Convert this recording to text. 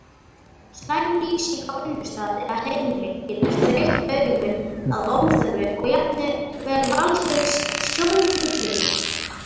Slæm lýsing á vinnustað eða heimili getur þreytt augun að óþörfu og jafnvel valdið sjóntruflunum.